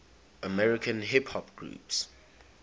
american hip hop groups